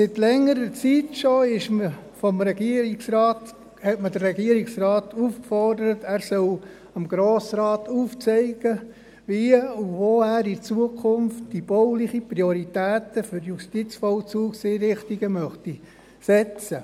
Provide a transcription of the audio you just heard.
Vor längerer Zeit hat man den Regierungsrat aufgefordert, er solle dem Grossen Rat aufzeigen, wie und wo er in Zukunft die baulichen Prioritäten für die Justizvollzugseinrichtungen setzen möchte.